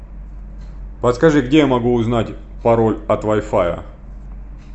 подскажи где я могу узнать пароль от вайфая